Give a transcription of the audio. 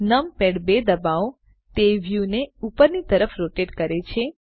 numpad 2 ડબાઓ તે વ્યુંને ઉપરની તરફ રોટેટ કરે છે